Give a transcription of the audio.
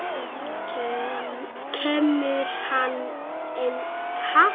Kemur hann engum við?